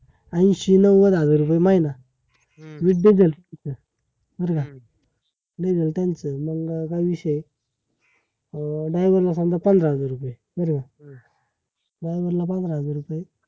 ऐंशी नौवाद हजार रुपये महिना बर का? लय त्यांच मग काय विषय आहे? अं driver ला समजा पंधरा हजार रुपये? बरोबर? driver ला पंधरा हजार रुपये